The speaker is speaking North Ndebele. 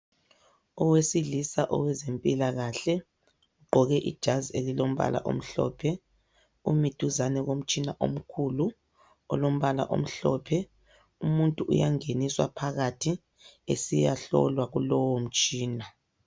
Owesilisa owezempilakahle ugqoke ijazi elilombala omhlophe umi duzane komtshina omkhulu olombala omhlophe. Umuntu uyangeniswa phakathi esiyahlolwa kulowo mtshina.